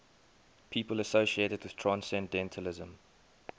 people associated with transcendentalism